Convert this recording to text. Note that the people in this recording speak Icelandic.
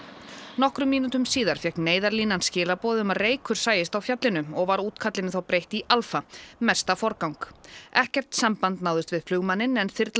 nokkrum mínútum síðar fékk Neyðarlínan skilaboð um að reykur sæist á fjallinu og var þá breytt í Alfa mesta forgang ekkert samband náðist við flugmanninn en þyrla